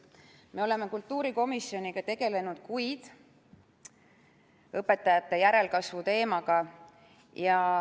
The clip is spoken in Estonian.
Me oleme kultuurikomisjoniga tegelenud kuid õpetajate järelkasvu teemaga.